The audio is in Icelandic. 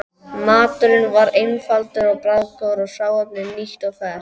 Maturinn var einfaldur og bragðgóður og hráefnið nýtt og ferskt.